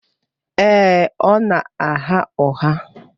Èè, ọ na-agha ụgha.